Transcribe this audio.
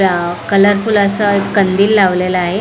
Colourful असं एक कंदील लावलेल आहे.